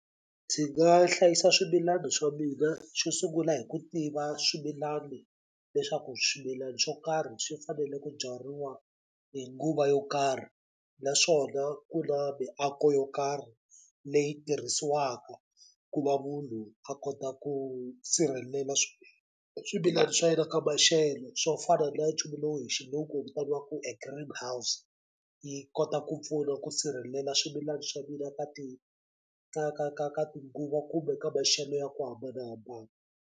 Ndzi nga hlayisa swimilani swa mina xo sungula hi ku tiva swimilani leswaku swimilani swo karhi swi fanele ku byariwa hi nguva yo karhi naswona ku na miako yo karhi leyi tirhisiwaka ku va munhu a kota ku sirhelela swimilani swa yena ka maxelo swo fana na nchumu lowu hi xilungu wu vitaniwaku a Greenhouse yi kota ku pfuna ku sirhelela swimilani swa mina ka ka ka ka ka tinguva kumbe ka maxelo ya ku hambanahambana.